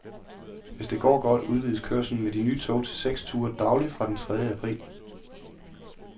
Hvis det går godt, udvides kørslen med de nye tog til seks ture dagligt fra den tredje april.